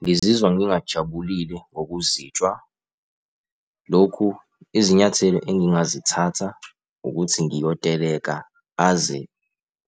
Ngizizwa ngingajabulile ngokuzitshwa. Lokhu izinyathelo engingazithatha ukuthi ngiyoteleka aze